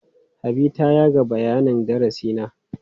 Habi ta yaga bayanin darasi na.